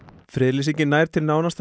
friðlýsingin nær til nánasta